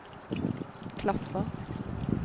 klaffer